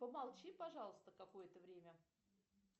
помолчи пожалуйста какое то время